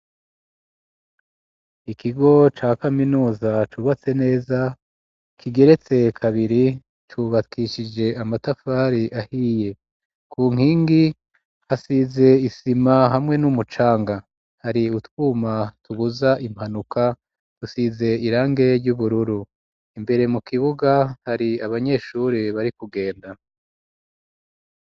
Ikigo ca kaminuza cubatse neza kigeretse kabiri cubakishije amatafari ahiye ku nkingi hasize isima hamwe n'umucanga hari utwuma tubuza impanuka dusize irangi ry'ubururu imbere mu kibuga hari abanyeshuri bari kugenda.